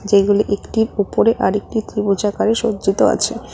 যেগুলি একটির উপরে আরেকটি ত্রিভুজ আকারে সজ্জিত আছে।